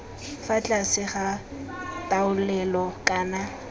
fa tlase ga taolelo kana